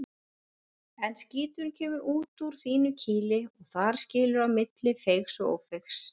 En skíturinn kemur út úr þínu kýli og þar skilur á milli feigs og ófeigs.